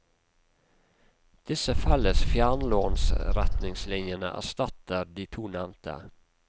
Disse felles fjernlånsretningslinjene erstatter de to nevnte.